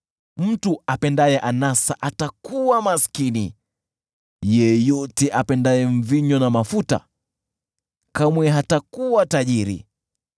Mtu apendaye anasa atakuwa maskini, yeyote apendaye mvinyo na mafuta kamwe hatakuwa tajiri.